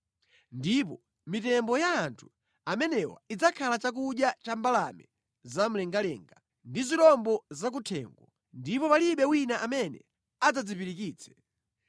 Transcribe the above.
Ndipo mitembo ya anthu amenewa idzakhala chakudya cha mbalame zamlengalenga ndi zirombo zakuthengo, ndipo palibe wina amene adzazipirikitse.